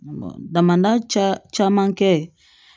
Damanda caa caman kɛ